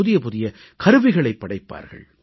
புதிய புதிய கருவிகளைப் படைப்பார்கள்